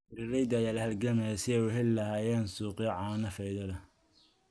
Beeralayda ayaa la halgamaya sidii ay u heli lahaayeen suuqyo caano oo faa'iido leh.